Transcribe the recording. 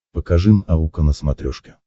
покажи наука на смотрешке